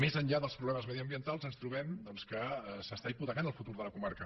més enllà dels problemes mediambientals ens trobem que s’està hipotecant el futur de la comarca